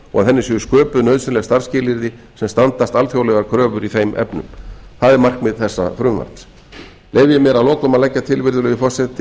og að henni séu sköpuð nauðsynleg starfsskilyrði sem standast alþjóðlegar kröfur í þeim efnum það er markmið þessa frumvarps leyfi ég mér að lokum að leggja til virðulegi forseti